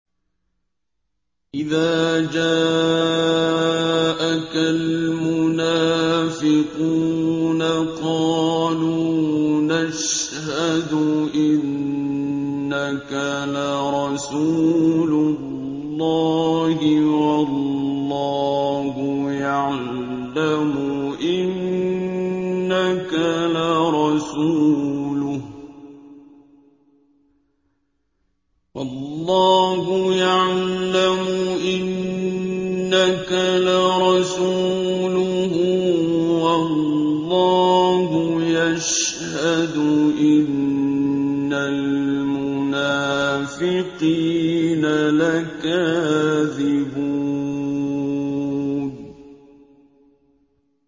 إِذَا جَاءَكَ الْمُنَافِقُونَ قَالُوا نَشْهَدُ إِنَّكَ لَرَسُولُ اللَّهِ ۗ وَاللَّهُ يَعْلَمُ إِنَّكَ لَرَسُولُهُ وَاللَّهُ يَشْهَدُ إِنَّ الْمُنَافِقِينَ لَكَاذِبُونَ